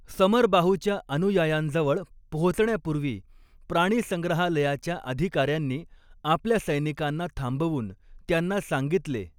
समरबाहूच्या अनुयायांजवळ पोहचण्यापूर्वी प्राणीसंग्रहालयाच्या अधिकार्यांनी आपल्या सैनिकांना थांबवून त्यांना सांगितले.